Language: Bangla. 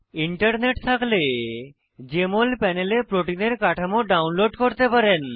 ইন্টারনেট থাকলে জেএমএল প্যানেলে প্রোটিনের কাঠামো ডাউনলোড করতে পারেন